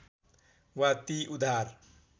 वा ती उदार